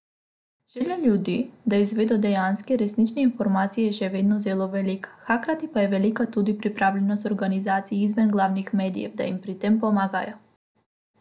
Želja ljudi, da izvedo dejanske, resnične informacije je še vedno zelo velika, hkrati pa je velika tudi pripravljenost organizacij izven glavnih medijev, da jim pri tem pomagajo.